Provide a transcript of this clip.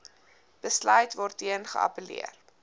besluit waarteen geappelleer